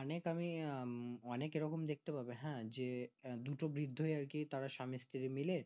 অনেক আমি অনেক এরকম দেখতে পাবে হ্যাঁ যে দুটো বির্ধ আর কি তারা স্বামী স্ত্রী মিলে